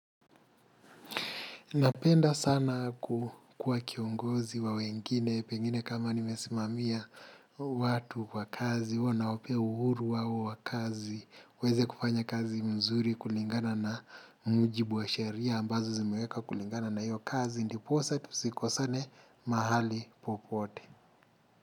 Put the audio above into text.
Napenda sana kukua kiongozi wa wengine, pengine kama nimesimamia watu kwa kazi, huwa nawapea uhuru wao wakazi, uweze kufanya kazi mzuri kulingana na mjibu wa sheria, ambazo zimeweka kulingana na iyo kazi, ndiposa tu siko sane mahali popote.